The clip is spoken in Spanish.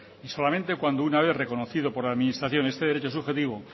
y solamente cuando una vez reconocido por la administración este derecho subjetivo